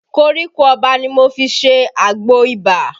Koríko Ọba ni mo fi ṣe àgbò ibà